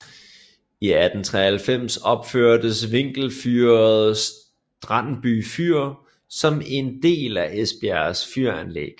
I 1893 opførtes vinkelfyret Strandby Fyr som er en del af Esbjergs fyranlæg